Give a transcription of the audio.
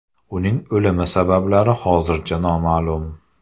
Uning o‘limi sabablari hozircha noma’lum.